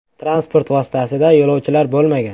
Transport vositasida yo‘lovchilar bo‘lmagan.